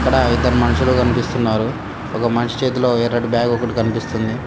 అక్కడ ఇద్దరు మనుషులు కనిపిస్తున్నారు ఒక మనిషి చేతిలో ఎర్రటి బ్యాగు ఒకటి కనిపిస్తుంది.